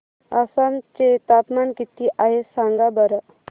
आसाम चे तापमान किती आहे सांगा बरं